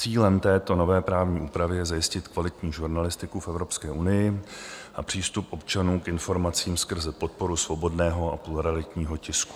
Cílem této nové právní úpravy je zajistit kvalitní žurnalistiku v Evropské unii a přístup občanů k informacím skrze podporu svobodného a pluralitního tisku.